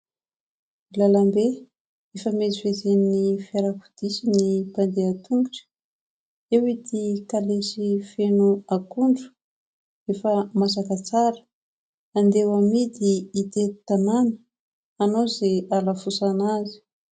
Lalambe ifamezivezen'ny fiarakodia sy ny mpandeha tongotra ; eo ity kalesy feno akondro efa masaka tsara andeha amidy itety tanàna hanao izay halafosana azy.